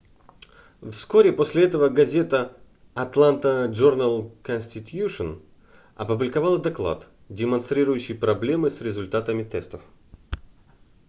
вскоре после этого газета атланта джорнал конститьюшн опубликовала доклад демонстрирующий проблемы с результатами тестов